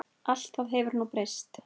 Allt það hefur nú breyst.